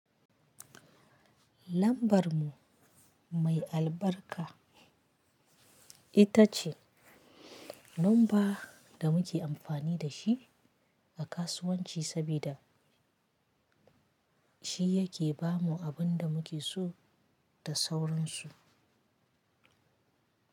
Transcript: Lambar mu mai albarka ita ce nomba da muke amfani da shi a kasuwanci sabida shi yake ba mu abin da muke so da sauransu.